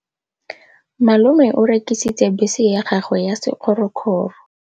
Malome o rekisitse bese ya gagwe ya sekgorokgoro.